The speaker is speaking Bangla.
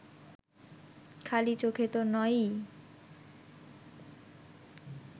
খালি চোখে তো নয়ই